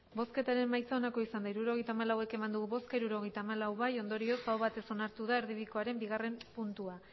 hirurogeita hamalau eman dugu bozka hirurogeita hamalau bai ondorioz aho batez onartu da erdibidekoaren bigarren puntua